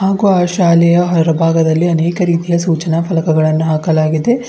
ಹಾಗೂ ಆ ಶಾಲೆಯ ಹೊರ ಭಾಗದಲ್ಲಿ ಅನೇಕ ರೀತಿಯ ಸೂಚನಾ ಫಲಕಗಳನ್ನು ಹಾಕಲಾಗಿದೆ.